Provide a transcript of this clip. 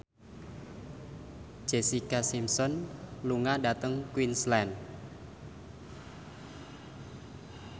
Jessica Simpson lunga dhateng Queensland